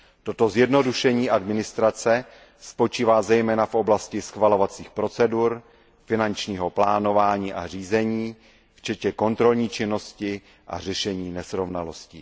Toto zjednodušení administrativy spočívá zejména v oblasti schvalovacích procedur, finančního plánování a řízení včetně kontrolní činnosti a řešení nesrovnalostí.